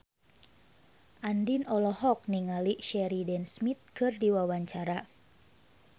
Andien olohok ningali Sheridan Smith keur diwawancara